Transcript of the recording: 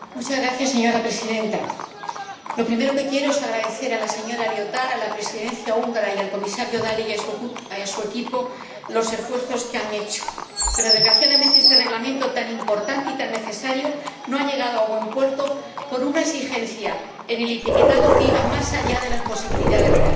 Señora Presidenta, lo primero que quiero es agradecer a la señora Liotard, a la Presidencia húngara y al Comisario Dalli y a su equipo los esfuerzos que han hecho, pero desgraciadamente este Reglamento tan importante y tan necesario no ha llegado a buen puerto por una exigencia en el etiquetado que iba más allá de las posibilidades reales.